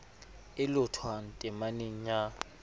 e lohothwang temaneng ya i